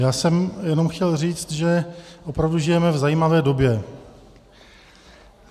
Já jsem jenom chtěl říct, že opravdu žijeme v zajímavé době.